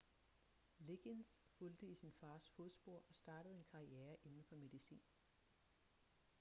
liggins fulgte i sin fars fodspor og startede en karriere inden for medicin